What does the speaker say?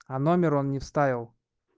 а номер он не вставил